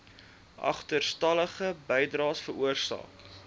agterstallige bydraes veroorsaak